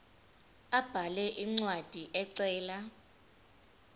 abhale incwadi ecela